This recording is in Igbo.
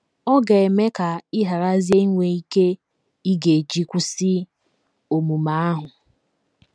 Ọ ga - eme ka ị gharazie inwe ike ị ga - eji kwụsị omume ahụ.